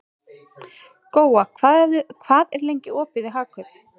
Góa, hvað er lengi opið í Hagkaup?